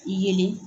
Yelen